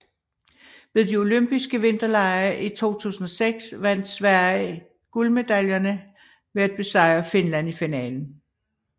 Ved de Olympiske Vinterlege i 2006 vandt Sverige guldmedaljerne ved at besejre Finland i finalen